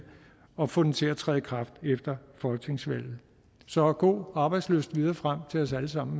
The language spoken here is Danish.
og få den til at træde i kraft efter folketingsvalget så god arbejdslyst videre frem til os alle sammen